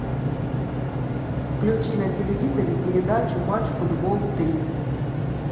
включи на телевизоре передачу матч футбол три